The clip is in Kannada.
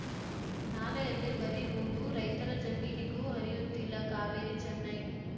ನಾಲೆಯಲ್ಲಿ ಬರೀ ಹೂಳು ರೈತರ ಜಮೀನಿಗೂ ಹರಿಯುತ್ತಿಲ್ಲ ಕಾವೇರಿ ಚೆನ್ನೈ